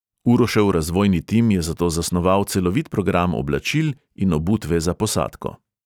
Urošev razvojni tim je zato zasnoval celovit program oblačil in obutve za posadko.